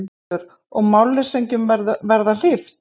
Höskuldur: Og málleysingjum verða hlíft?